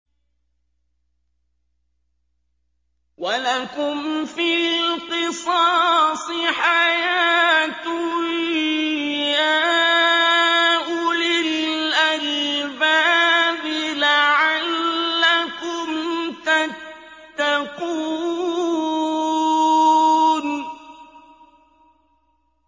وَلَكُمْ فِي الْقِصَاصِ حَيَاةٌ يَا أُولِي الْأَلْبَابِ لَعَلَّكُمْ تَتَّقُونَ